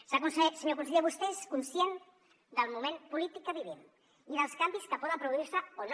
senyor conseller vostè és conscient del moment polític que vivim i dels canvis que poden produir se o no